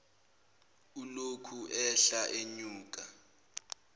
ulokhu ehla enyuka